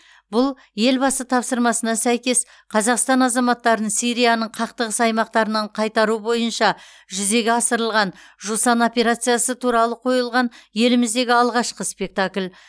бұл елбасы тапсырмасына сәйкес қазақстан азаматтарын сирияның қақтығыс аймақтарынан қайтару бойынша жүзеге асырылған жусан операциясы туралы қойылған еліміздегі алғашқы спектакль